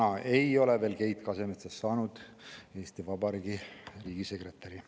Täna ei ole Keit Kasemetsast veel saanud Eesti Vabariigi riigisekretäri.